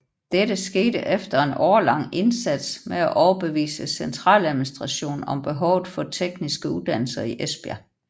Dette skete efter en årelang indsats med at overbevise centraladministrationen om behovet for tekniske uddannelser i Esbjerg